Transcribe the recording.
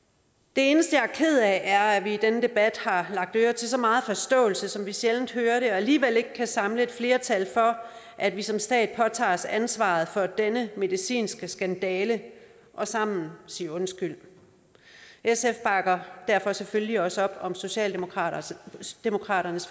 det eneste jeg er ked af er at vi i denne debat har lagt øre til så meget forståelse som vi sjældent hører og alligevel ikke kan samle et flertal for at vi som stat påtager os ansvaret for denne medicinske skandale og sammen siger undskyld sf bakker derfor selvfølgelig også op om socialdemokratiets